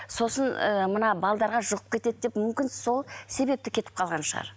сосын ы мына жұғып кетеді деп мүмкін сол себепті кетіп қалған шығар